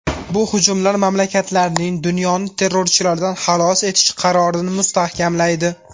Bu hujumlar mamlakatlarning dunyoni terrorchilardan xalos etish qarorini mustahkamlaydi.